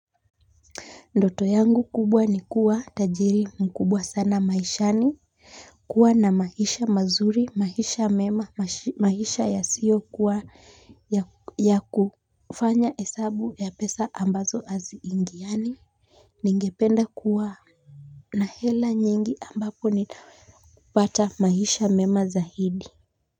Ndoto yangu kubwa ni kuwa tajiri mkubwa sana maishani kuwa na maisha mazuri maisha mema maisha ya sio kuwa ya kufanya hesabu ya pesa ambazo aziingiani ningependa kuwa na hela nyingi ambapo nitaweza kupata maisha mema zaidi.